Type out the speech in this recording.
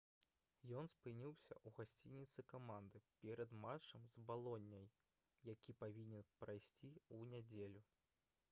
ён спыніўся ў гасцініцы каманды перад матчам з балонняй які павінен прайсці ў нядзелю